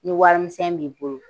Ni warimisɛn b'i bolo